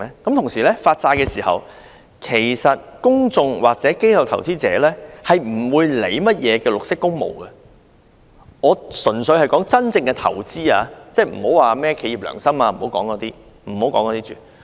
同時，在發債的時候，其實公眾或機構投資者不會理會甚麼綠色工務，我所指的純粹是真正的投資者，先不要說甚麼企業良心等。